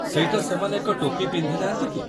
ସେଇଟା ସେମାନେ ଏକ ଟୋପି ପିନ୍ଧି ନାହାନ୍ତି କି?